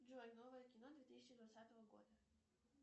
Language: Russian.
джой новое кино две тысячи двадцатого года